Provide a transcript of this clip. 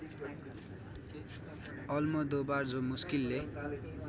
Almodovar जो मुस्किलले